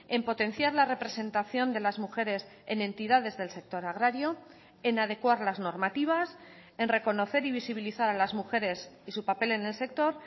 en potenciar la representación de las mujeres en entidades del sector agrario en adecuar las normativas en reconocer y visibilizar a las mujeres y su papel en el sector